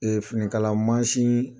finikala mansin